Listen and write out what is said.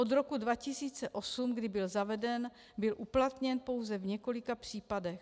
Od roku 2008, kdy byl zaveden, byl uplatněn pouze v několika případech.